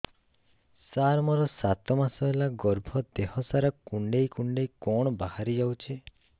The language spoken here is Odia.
ସାର ମୋର ସାତ ମାସ ହେଲା ଗର୍ଭ ଦେହ ସାରା କୁଂଡେଇ କୁଂଡେଇ କଣ ବାହାରି ଯାଉଛି